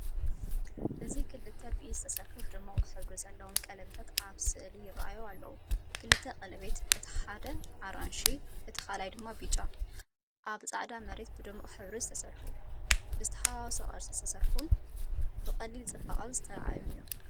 እዚ ክልተ ብኢድ ዝተሰርሑ ድሙቕ ሕብሪ ዘለዎም ቀለቤታት ኣብ ስእሊ ይራኣዩ ኣለዉ። ክልተ ቀለቤት፡ እቲ ሓደ ኣራንሺ፡ እቲ ካልኣይ ድማ ብጫ፡ ኣብ ጻዕዳ መሬት ብድሙቕ ሕብሪ ዝተሰርሑ። ብዝተሓዋወሰ ቅርጺ ዝተሰርሑን ብቐሊል ጽባቐ ዝተራእዩን እዮም።